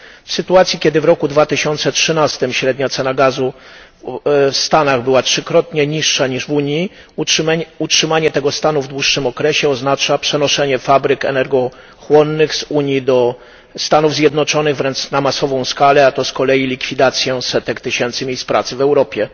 W sytuacji, kiedy w roku 2013 średnia cena gazu w Stanach była trzykrotnie niższa niż w Unii, utrzymanie tego stanu w dłuższym okresie oznacza przenoszenie fabryk energochłonnych z Unii do Stanów Zjednoczonych wręcz na masową skalę, a to z kolei oznacza likwidację setek tysięcy miejsc pracy w Europie.